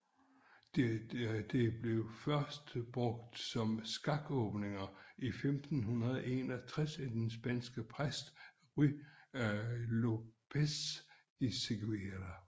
Det blev først brugt om skakåbninger i 1561 af den spanske præst Ruy López de Segura